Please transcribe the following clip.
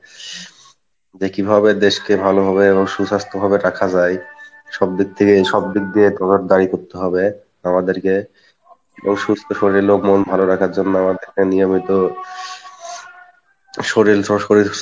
যে কীভাবে দেশকে ভালো ভাবে এবং সুস্বাস্থ্যভাবে রাখা যায়, সব দিক থেকেই সব দিয়েই করতে হবে আমাদেরকে ও সুস্থ শরীলে ভালো রাখার জন্য আমাদেরকে নিয়মিত শরীল শরীল